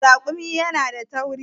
Naman raƙumi yana da tauri.